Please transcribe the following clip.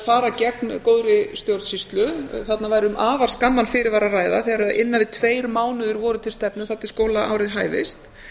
fara gegn góðri stjórnsýslu þarna væri um afar skamman fyrirvara að ræða þegar innan við tveir mánuðir voru til stefnu þar til skólaárið hæfist